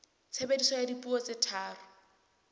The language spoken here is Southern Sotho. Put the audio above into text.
tshebediso ya dipuo tse tharo